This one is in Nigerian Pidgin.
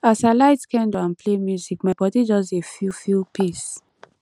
as i light candle and play music my body just dey feel feel peace